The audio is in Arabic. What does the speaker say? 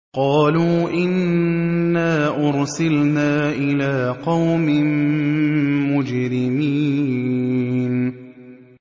قَالُوا إِنَّا أُرْسِلْنَا إِلَىٰ قَوْمٍ مُّجْرِمِينَ